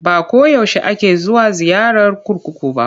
Ba ko yaushe ake zuwa ziyara kurkuku ba.